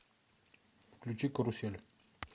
включи карусель